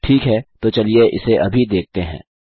ठीक है तो चलिए इसे अभी देखते हैं